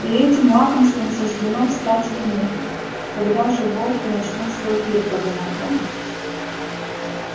и этим лакомством суждено стать ему когда же волки начнут свой пир подумал он